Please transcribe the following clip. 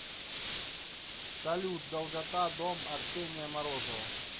салют долгота дом арсения морозова